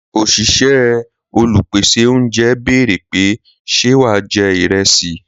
Òṣìṣẹ́ Olùpèsè oúnjẹ béèrè pé ṣe wà jẹ́ ìrẹsì?